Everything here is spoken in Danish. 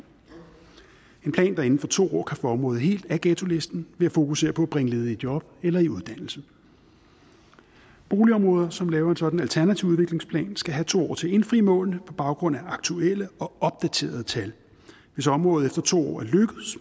en plan der inden for to år kan få området helt af ghettolisten ved at fokusere på at bringe ledige i job eller i uddannelse boligområder som laver en sådan alternativ udviklingsplan skal have to år til at indfri målene på baggrund af aktuelle og opdaterede tal hvis området efter to